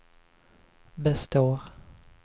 består